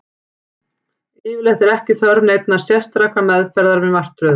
Yfirleitt er ekki þörf neinnar sérstakrar meðferðar við martröðum.